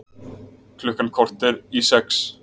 Klukkan korter í sex